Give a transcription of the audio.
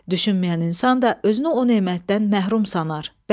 Düşünməyən insan da özünü o nemətdən məhrum sanar.